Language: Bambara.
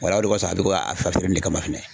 Wala o de kɔsɔn a bɛ to ka kama fɛnɛ.